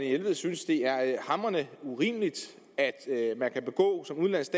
jelved synes det er hamrende urimeligt at man som udenlandsk